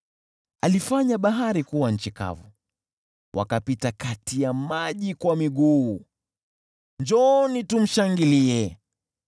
Alifanya bahari kuwa nchi kavu, wakapita kati ya maji kwa miguu, njooni, tumshangilie.